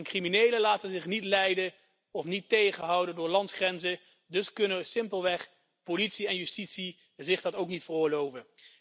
Criminelen laten zich niet leiden of tegenhouden door landsgrenzen, dus kunnen politie en justitie zich dat ook niet veroorloven.